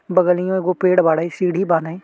बगलियो एगो पेड़ बाड़ेन। सीढ़ी बाडेन।